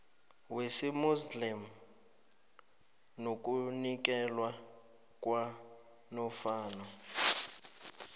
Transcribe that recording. wesimuslimu nokunikelwa kwanofana